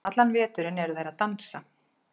Allan veturinn eru þeir að dansa.